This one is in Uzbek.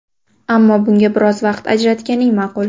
Ammo bunga biroz vaqt ajratganing ma’qul.